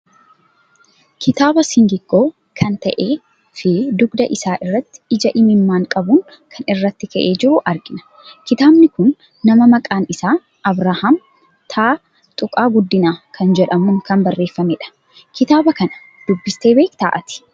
Kitaaba singiggoo kan ta'ee fi dugda isaa irratti ija imimmaan qabun kan irratti ka'ee jiru argina. kitabni kun nama maqaan isaa Abrahaam T.Guddina kan jedhamun kan barreeffamedha. Kitaaba kana dubbiste beekta ati?